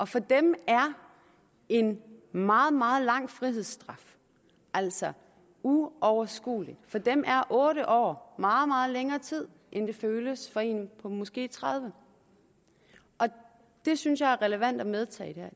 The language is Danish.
for dem er en meget meget lang frihedsstraf altså uoverskuelig for dem er otte år meget meget længere tid end det føles for en på måske tredive år det synes jeg er relevant at medtage